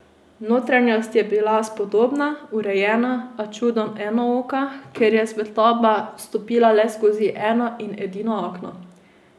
Notranjost je bila spodobna, urejena, a čudno enooka, ker je svetloba vstopala le skozi eno in edino okno.